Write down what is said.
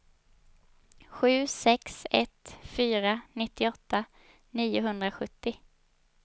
sju sex ett fyra nittioåtta niohundrasjuttio